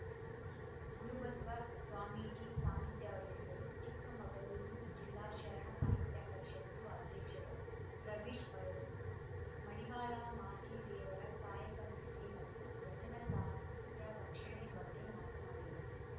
ಗುರುಬಸ್ವ ಸ್ವಾಮೀಜಿ ಸಾನಿಧ್ಯ ವಹಿಸಿದ್ದರು ಚಿಕ್ಕಮಗಳೂರು ಜಿಲ್ಲಾ ಶರಣ ಸಾಹಿತ್ಯ ಪರಿಷತ್ತು ಅಧ್ಯಕ್ಷರ ರವೀಶ್‌ ಅವರು ಮಡಿವಾಳ ಮಾಚಿದೇವರ ಕಾಯಕ ನಿಷ್ಠೆ ಮತ್ತು ವಚನ ಸಾಹಿತ್ಯ ರಕ್ಷಣೆ ಬಗ್ಗೆ ಮಾತನಾಡಿದರು